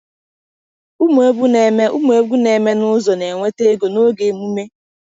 Ụmụ egwu na-eme Ụmụ egwu na-eme n’ụzọ na-enweta ego n’oge emume.